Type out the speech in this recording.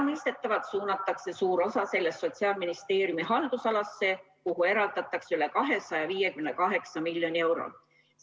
Mõistetavalt suunatakse suur osa sellest Sotsiaalministeeriumi haldusalasse, kuhu eraldatakse üle 258 miljoni euro.